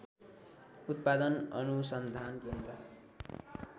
उत्‍पादन अनुसन्धान केन्द्र